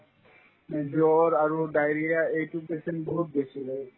মানে জ্বৰ আৰু diarrhea এইটোৰ patient বহুত বেছি হ'ল